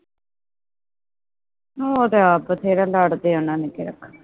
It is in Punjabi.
ਉਹ ਤਾ ਆਪ ਬਥੇਰਾ ਲੜਦੇ ਹਾਂ ਉਹਨਾਂ ਨੇ ਕੇੜਾ